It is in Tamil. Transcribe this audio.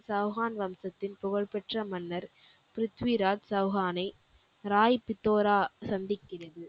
சவுகான் வம்சத்தில் புகழ் பெற்ற மன்னர் ப்ரித்திவிராஜ் சவ்ஹான்னை ராய் பித்தோர சந்திக்கிறது.